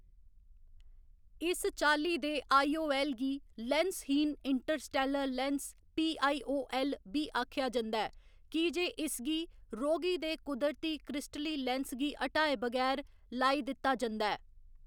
इस चाल्ली दे आई. ओ. ऐल्ल. गी लेंसहीन interstellar lens P. I. O. L. बी आखेआ जंदा ऐ, की जे इसगी रोगी दे कुदरती क्रिस्टली लेंस गी हटाए बगैर लाई दित्ता जंदा ऐ।